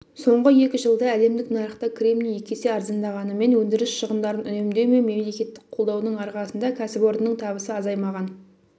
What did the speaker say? соңғы екі жылда әлемдік нарықта кремний екі есе арзандағанымен өндіріс шығындарын үнемдеу мен мемлекеттік қолдаудың арқасында кәсіпорынның табысы азаймаған